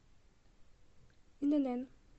инн